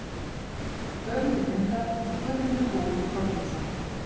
Höfundur myndar: Guðmundur Búi Þorfinnsson.